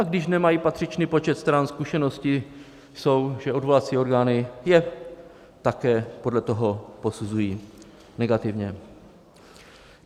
a když nemají patřičný počet stran, zkušenosti jsou, že odvolací orgány je také podle toho posuzují negativně.